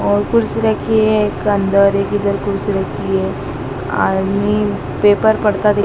और कुर्सी रखी है एक अंदर एक इधर कुर्सी रखी है आदमी पेपर पढ़ता दि--